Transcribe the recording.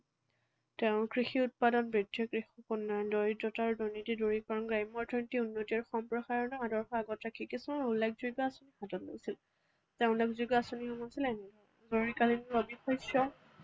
তেঁওৰ কৃষি উৎপাদন বৃদ্ধি, কৃষক উন্নয়ন, দৰিদ্ৰতা আৰু দুৰ্নীতি দূৰীকৰণ, গ্ৰাম্য অৰ্থনীতিৰ উন্নতিৰ সম্প্ৰসাৰণ আদৰ্শ আগত ৰাখি কিছুমান উল্লেখযোগ্য আঁচনি হাতত লৈছিল। তেওঁৰ উল্লেখযোগ্য আঁচনিসমূহ আছিল এনে ধৰণৰ